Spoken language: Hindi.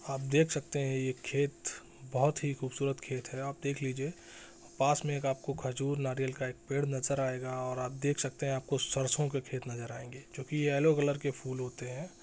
आप देख सकते है ये खेत बोहोत ही खुबसूरत खेत है आप देख लीजिये पास में एक आपको खजूर नारियल का एक पेड़ नज़र आएगा और आप देख सकते है आपको सरसों के खेत नज़र आएंगे जो की ये येलो कलर के फूल होते है।